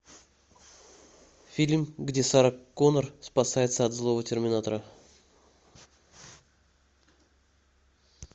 фильм где сара коннор спасается от злого терминатора